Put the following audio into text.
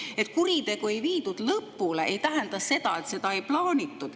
Et kuritegu ei viidud lõpule, ei tähenda seda, et seda ei plaanitud.